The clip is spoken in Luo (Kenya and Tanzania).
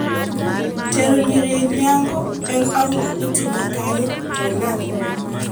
Tero nyiri nyango en ang'o, itime kanye to nang'o?